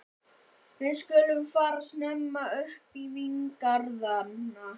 Við skulum fara snemma upp í víngarðana.